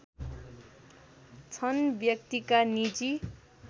छन् व्यक्तिका निजी